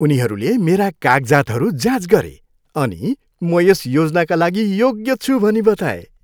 उनीहरूले मेरा कागजातहरू जाँच गरे अनि म यस योजनाका लागि योग्य छु भनी बताए।